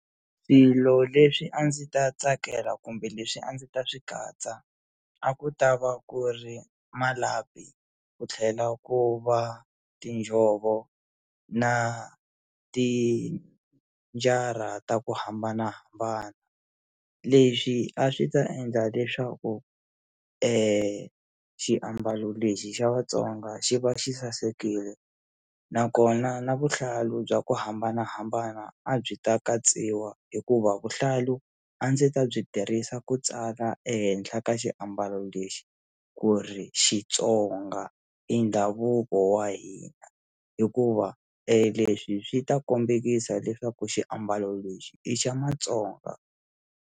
Swilo leswi a ndzi ta tsakela kumbe leswi a ndzi ta swi katsa a ku ta va ku ri malapi ku tlhela ku va tinjhovo na tinjara ta ku hambanahambana lexi a swi ta endla leswaku i xiambalo lexi xa vatsonga xi va xi sasekile nakona na vuhlalu bya ku hambanahambana a byi ta katsiwa hikuva vuhlalu a ndzi ta byi tirhisa ku tsala ehenhla ka xiambalo lexi ku ri xitsonga i ndhavuko wa hina hikuva eleswi swi ta kombekisa leswaku xiambalo lexi i xa matsonga.